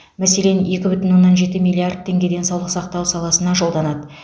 мәселен екі бүтін оннан жеті миллиард теңге денсаулық сақтау саласына жолданады